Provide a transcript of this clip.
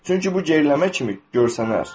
çünki bu geriləmə kimi görsənər.